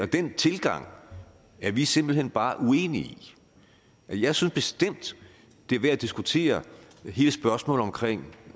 den tilgang er vi simpelt hen bare uenige i jeg synes bestemt det er værd at diskutere hele spørgsmålet om